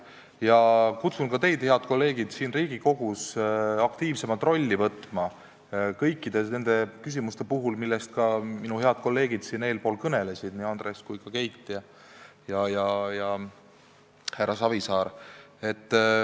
Ma kutsun teid üles, head kolleegid, siin Riigikogus etendama aktiivsemat rolli kõikide nende küsimuste arutelul, millest siin täna kõnelesid ka Andres, Keit ja härra Savisaar.